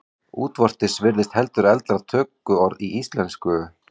Útvortis virðist heldur eldra tökuorð í íslensku.